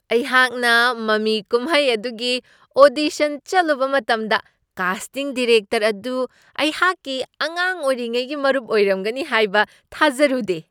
ꯑꯩꯍꯥꯛꯅ ꯃꯃꯤ ꯀꯨꯝꯍꯩ ꯑꯗꯨꯒꯤ ꯑꯣꯗꯤꯁꯟ ꯆꯠꯂꯨꯕ ꯃꯇꯝꯗ ꯀꯥꯁꯇꯤꯡ ꯗꯤꯔꯦꯛꯇꯔ ꯑꯗꯨ ꯑꯩꯍꯥꯛꯀꯤ ꯑꯉꯥꯡ ꯑꯣꯏꯔꯤꯉꯩꯒꯤ ꯃꯔꯨꯞ ꯑꯣꯏꯔꯝꯒꯅꯤ ꯍꯥꯏꯕ ꯊꯥꯖꯔꯨꯗꯦ꯫